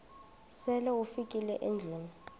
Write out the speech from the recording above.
sele ufikile endlwini